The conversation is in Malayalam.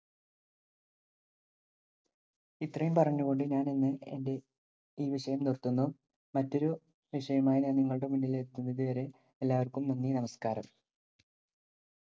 ഇത്രയും പറഞ്ഞു കൊണ്ട് ഞാനിന്ന് എന്‍റെ ഈ വിഷയം നിര്‍ത്തുന്നു. മറ്റൊരു വിഷയവുമായി ഞാന്‍ നിങ്ങളുടെ മുമ്പില്‍ എത്തുന്നത് വരെ എല്ലാവര്‍ക്കും നന്ദി, നമസ്കാരം.